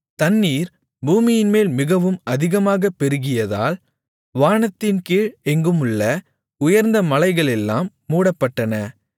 தண்ணீர் பூமியின்மேல் மிகவும் அதிகமாகப் பெருகியதால் வானத்தின்கீழ் எங்குமுள்ள உயர்ந்த மலைகளெல்லாம் மூடப்பட்டன